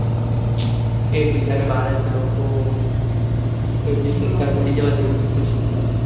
એક બીજા ને મારે છે લોકો ને પડી જવાનું જેવું થય ગયું છે ત્યાં